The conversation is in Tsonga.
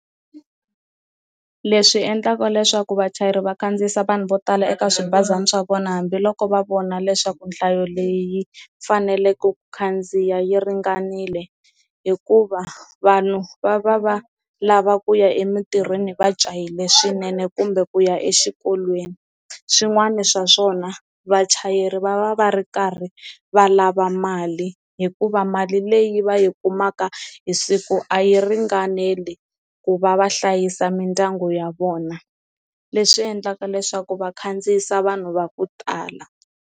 Leswi endlaka leswaku vachayeri va kandziyisa vanhu vo tala eka swibazana swa vona hambiloko va vona leswaku nhlayo leyi yi faneleke ku khandziya yi ringanile hikuva vanhu va va va lava ku ya emitirhweni va jahile swinene kumbe ku ya exikolweni, swin'wani swa swona vachayeri va va va ri karhi va lava mali hikuva mali leyi va yi kumaka hi siku a yi ringaneli ku va va hlayisa mindyangu ya vona leswi endlaka leswaku va khandziyisa vanhu va ku tala.